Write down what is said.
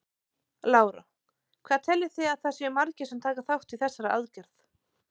Lára: Hvað teljið þið að það séu margir sem taka þátt í þessari aðgerð?